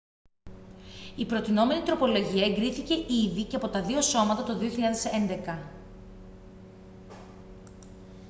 η προτεινόμενη τροπολογία εγκρίθηκε ήδη και από τα δύο σώματα το 2011